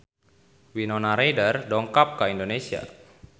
Winona Ryder dongkap ka Indonesia